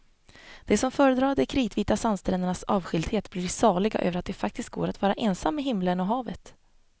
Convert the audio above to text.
De som föredrar de kritvita sandsträndernas avskildhet blir saliga över att det faktiskt går att vara ensam med himlen och havet.